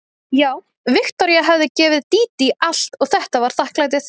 Já, Viktoría hafði gefið Dídí allt og þetta var þakklætið.